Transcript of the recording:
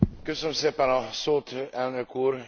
Köszönöm szépen a szót, Elnök Úr!